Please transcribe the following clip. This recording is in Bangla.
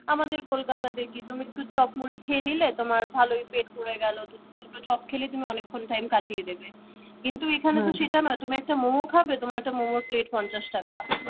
আমাদের কলকাতাতে কি তুমি একটু চপ মুড়ি খেয়ে নিলে তোমার ভালোই পেট ভরে গেল। দুটো চপ খেলে তুমি অনেকক্ষণ time কাটিয়ে দেবে কিন্তু এখানে তো সেটা নয়, তুমি একটা মম খাবে? তোমার একটা মোমোর plate পঞ্চাশ টাকা